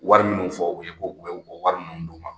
Wari minnu fɔ u ye, ko u bɛ wari minnu d'o ma.